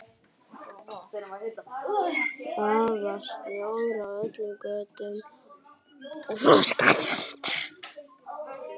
Það var snjór á öllum götum og frostharka.